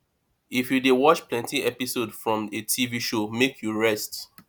if you dey watch plenty episode from a tv show make you rest